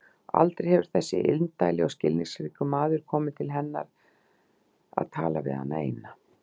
Aldrei hefur þessi indæli og skilningsríki maður komið til hennar að tala við hana eina.